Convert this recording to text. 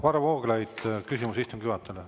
Varro Vooglaid, küsimus istungi juhatajale.